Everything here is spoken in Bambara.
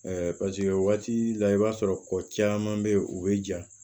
paseke waati la i b'a sɔrɔ ko caman bɛ yen u bɛ ja